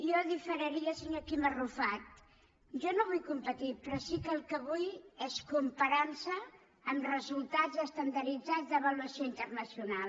jo diferiria del senyor quim arrufat jo no vull competir però sí que el que vull és comparança amb resultats estandarditzats d’avaluació internacional